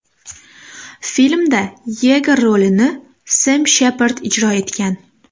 Filmda Yeger rolini Sem Shepard ijro etgan.